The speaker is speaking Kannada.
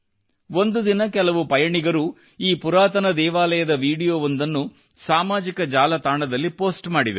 ಒಂದು ದಿನ ಕೆಲ ಪಯಣಿಗರು ಈ ಪುರಾತನ ದೇವಾಲಯದ ವಿಡಿಯೋ ಒಂದನ್ನು ಸಾಮಾಜಿಕ ಜಾಲತಾಣದಲ್ಲಿ ಪೋಸ್ಟ್ ಮಾಡಿದರು